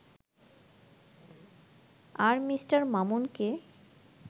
আর Mr. মামুনকে